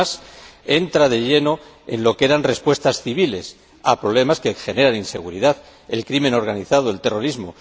Y, además, entra de lleno en lo que eran respuestas civiles a problemas que generan inseguridad el crimen organizado, el terrorismo...